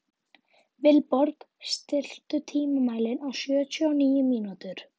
Vilborg, stilltu tímamælinn á sjötíu og níu mínútur.